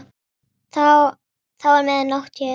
Þá er mið nótt hér.